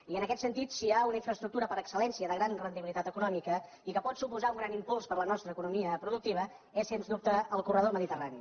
i en aquest sentit si hi ha unes infraestructures per excel·lència de gran rendibilitat econòmica i que pot suposar un gran impuls per a la nostra economia productiva és sens dubte el corredor mediterrani